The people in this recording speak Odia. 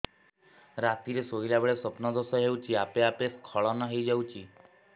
ରାତିରେ ଶୋଇଲା ବେଳେ ସ୍ବପ୍ନ ଦୋଷ ହେଉଛି ଆପେ ଆପେ ସ୍ଖଳନ ହେଇଯାଉଛି